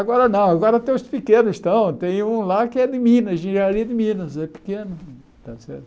Agora não, agora tem os pequenos, tem um lá que é de Minas, Engenharia de Minas, é pequeno, está certo?